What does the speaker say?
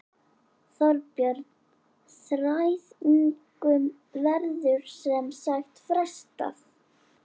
Þorbjörn: Þræðingum verður sem sagt frestað?